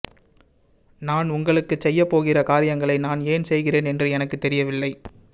நான் உங்களுக்குச் செய்யப்போகிற காரியங்களை நான் ஏன் செய்கிறேன் என்று எனக்குத் தெரியவில்லை